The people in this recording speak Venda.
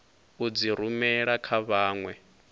u dzi rumela kha vhanwe